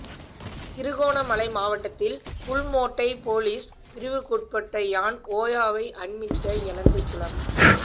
திருகோணமலை மாவட்டத்தில் புல்மோட்டை பொலிஸ் பிரிவுற்குற்பட்ட யான் ஓயாவை அண்மித்த எலந்தைக்குளம்